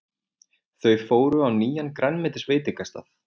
Þau fóru á nýjan grænmetisveitingastað.